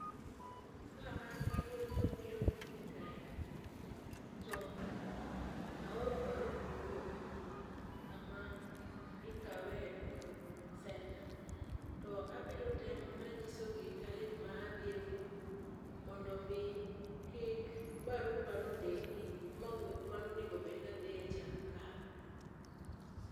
Ka angi wuoth mabiro nyime kae, to aoro barup wuoth kama ikawe e oduma center to abiro temo nanyisogi tarik madhie ewuoth mondo mi kik barupano deki mawuoth mane onego bedni adhiecha kal.